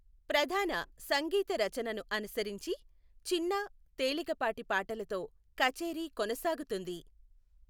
ప్రధాన సంగీత రచనను అనుసరించి, చిన్న, తేలికపాటి పాటలతో కచేరీ కొనసాగుతుంది.